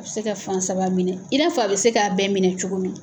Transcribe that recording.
A bɛ se ka fan saba minɛ i n'a fɔ a bɛ se k'a bɛɛ minɛ cogo min.